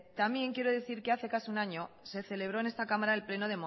también quiero decir que hace casi un año se celebró en esta cámara el pleno